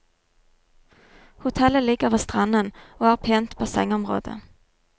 Hotellet ligger ved stranden og har pent bassengområde.